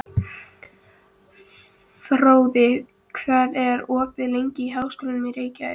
Fróði, hvað er opið lengi í Háskólanum í Reykjavík?